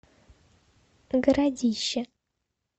городище